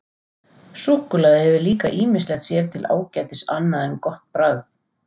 Súkkulaði hefur líka ýmislegt sér til ágætis annað en gott bragð.